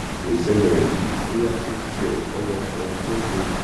kò ṣẹlẹ rí bóyá kò tiẹ fẹyọ kan jófin